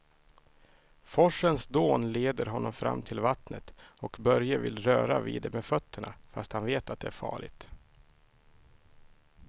Forsens dån leder honom fram till vattnet och Börje vill röra vid det med fötterna, fast han vet att det är farligt.